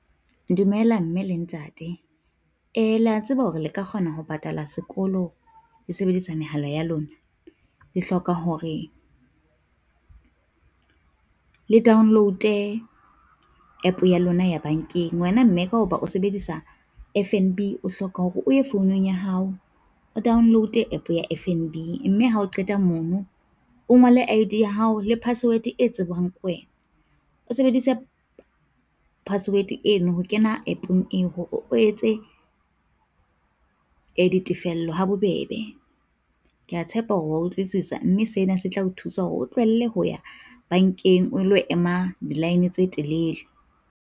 Dumela mme le ntate, le ya tseba hore le ka kgona ho patala sekolo le sebedisa mehala ya lona? Le hloka hore le download-e app ya lona ya bankeng, wena mme ka hoba o sebedisa F_N_B, o hloka hore o ye founung ya hao o download-e app ya F_N_B. Mme ha o qeta mono o ngole I_D ya hao le password e tsebwang ke wena, o sebedise password eno ho kena app-ong eo hore o etse di tefello ha bobebe. Kea tshepa hore wa utlwisisa mme sena se tla o thusa hore o tlohelle ho ya bankeng, o lo ema di line tse telele.